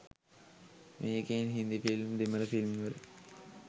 මේකෙන්.හින්දි film දෙමළ ෆිල්ම්වල